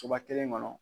Soba kelen kɔnɔ